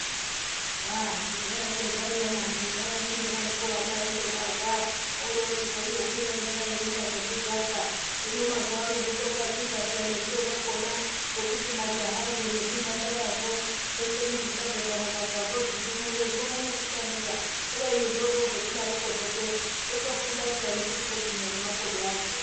Aah kudhayayokwo zvaiya nani, zvaiya kundodaro kwo ana endobarwa orozochikwira ega eirumba nekudzaka. Hino mazuwa ano zvotogadzirwa peyaa nezviro zvakona zvekuti majahazvo nezvimhandara zvo zveshe nezvichabva pamukakazvo zvindumure zvione pakutambira. Kubeni zvorozodarokwoke zvotofunda peyaa nekuchitogwinya nemakodo azvowo.